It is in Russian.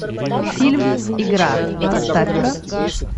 фильм игра поставь ка